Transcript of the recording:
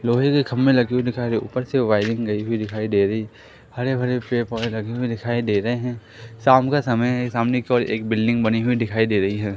लोहे के खंभे लगे हुए दिखाई दे रहे। ऊपर से वायरिंग गई हुई दिखाई दे रही है। हरे-भरे पेड़-पौधे लगे हुए दिखाई दे रहे है। शाम का समय है। सामने केवल एक बिल्डिंग बनी हुई दिखाई दे रही है।